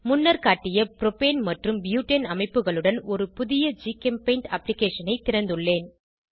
முன்னர் காட்டிய புரோபேன் மற்றும் பியூட்டேன் அமைப்புகளுடன் ஒரு புதிய ஜிகெம்பெய்ண்ட் அப்ளிகேஷன் ஐ திறந்துள்ளேன்